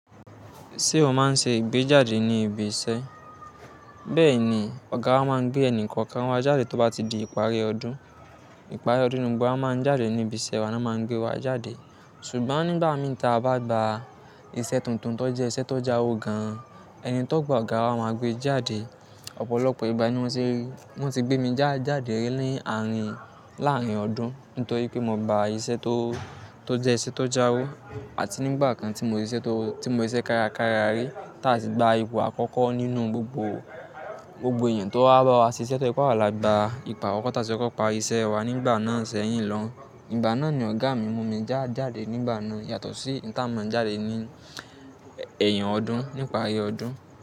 Ṣé o máa ń ṣe ìgbéjáde ní ibi iṣẹ́? Bẹ́ẹ̀ni, ọ̀gá wa máa ń gbé ẹnì kọ̀ọ̀kan wa jáde tó bá ti di ìparí ọdún. Ìparí ọdún ni gbogbo wa máa ń jáde ní ibi iṣẹ́ wa ná máa ń gbé wa jáde. Ṣùgbọ́n nígbà mi ta bá gba iṣẹ́ tuntun tó jẹ́ iṣẹ́ tó jáwo gan-an, ẹni tó gba ọ̀gá wa máa gbé e jáde. Ọ̀pọ̀lọpọ̀ ìgbà ni wọ́n ti rí, wọ́n ti gbé mi já jáde rí ní àárín láàárín ọdún nítorí pé mo gba iṣẹ́ tó, tó jẹ́ iṣẹ́ tó jáwo àti nígbà kan tí mo rí iṣẹ́ tó, tí mo rí iṣẹ́ kárakára rí táa sì gba ipò àkọ́kọ́ nínú gbogbo, gbogbo èèyàn tó wá bá wa ṣe iṣẹ́ tó je pe awa lá gbà. Ipò àkọ́kọ́ táa sì kọ́pa iṣẹ́ wa nígbà náà sẹ́yìn lọ. Ìgbà náà ni ọ̀gá mi mú mi já jáde nígbà náà yàtọ̀ sí nígbà tí à ń máa ń jáde ní ẹ̀yìn ọdún, ní ìparí ọdún.